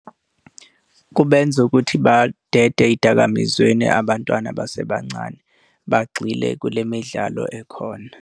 Kubenza ukuthi badede ey'dakamizweni abantwana abasebancane, bagxile kule midlalo ekhona.